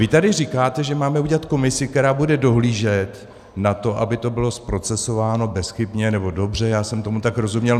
Vy tady říkáte, že máme udělat komisi, která bude dohlížet na to, aby to bylo zprocesováno bezchybně, nebo dobře, já jsem tomu tak rozuměl.